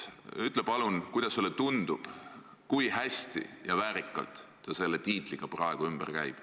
Ütle palun, kuidas sulle tundub, kui hästi ja väärikalt ta selle tiitliga praegu ümber käib.